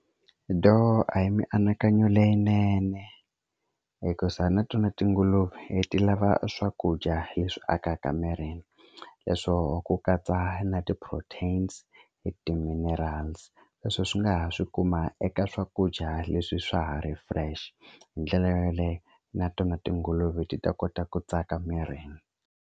Do a hi mianakanyo leyinene hikusa na tona tinguluve ti lava swakudya leswi akaka mirini leswo ku katsa na ti-proteins ti-minerals leswi swi nga ha swi kuma eka swakudya leswi swa ha ri fresh hi ndlela yo yaleyo na tona tinguluve ti ta kota ku tsaka mirini.